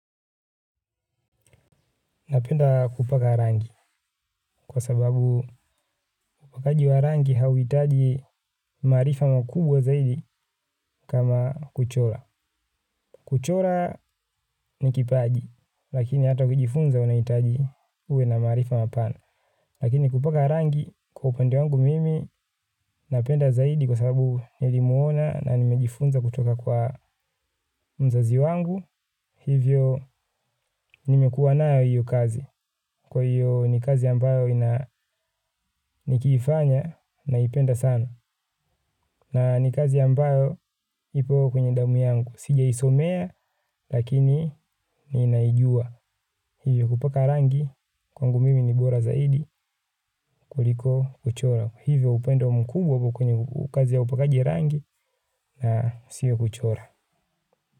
Napenda kupaka rangi kwa sababu upakaji wa rangi hauitaji maarifa mkubwa zaidi kama kuchola. Kuchola ni kipaji lakini hata kujifunza unaitaji uwe na maarifa mapana. Lakini kupaka rangi kwa upende wangu mimi napenda zaidi kwa sababu nilimwona na nimejifunza kutoka kwa mzazi wangu. Hivyo nimekuwa nayo hiyo kazi. Kwa hiyo ni kazi ambayo ina nikifanya na ipenda sana. Na ni kazi ambayo ipo kwenye damu yangu. Sija isomea lakini ni naijua. Hivyo kupaka rangi kwangu mimi ni bora zaidi kuliko kuchora. Hivyo upendo mkubwa kwenye kazi ya upakaji rangi na siyo kuchora.